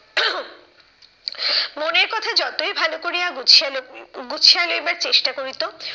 মনের কথা যতই ভালো করিয়া গুছিয়া গুছিয়া লেখবার চেষ্টা করিত,